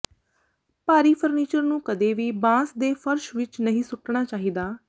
ਭਾਰੀ ਫ਼ਰਨੀਚਰ ਨੂੰ ਕਦੇ ਵੀ ਬਾਂਸ ਦੇ ਫਰਸ਼ ਵਿਚ ਨਹੀਂ ਸੁੱਟਣਾ ਚਾਹੀਦਾ